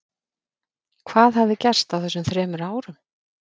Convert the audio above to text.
Hvað hafði gerst á þessum þremur árum?